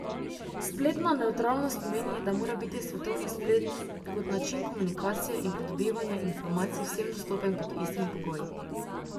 Spletna nevtralnost pomeni, da mora biti svetovni splet kot način komunikacije in pridobivanje informacij vsem dostopen pod istimi pogoji.